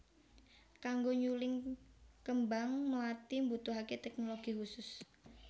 Kanggo nyuling kembang mlathi mbutuhaké téknologi khusus